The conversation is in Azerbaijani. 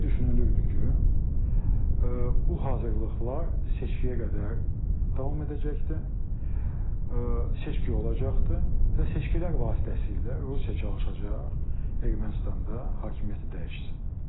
Elə düşünülürdü ki, bu hazırlıqlar seçkiyə qədər davam edəcəkdir, seçki olacaqdır və seçkilər vasitəsilə Rusiya çalışacaq Ermənistanda hakimiyyəti dəyişsin.